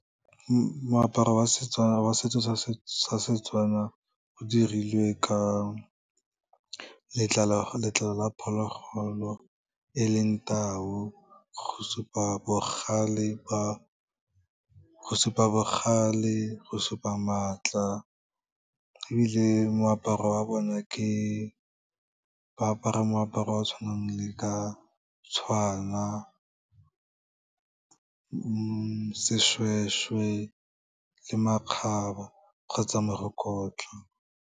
Moaparo wa Setswana wa setso sa seTswana o dirilwe ka letlalo la phologolo e leng tau go supa bogale, go supa maatla ebile moaparo wa bona ke, ba apara moaparo wa tshwanang le ka tshwana, seshweshwe le makgabe, kgotsa merokotla.